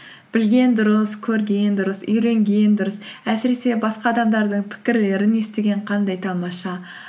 білген дұрыс көрген дұрыс үйренген дұрыс әсіресе басқа адамдардың пікірлерін естіген қандай тамаша